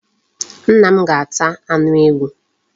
Nna m ga-ata anu ewu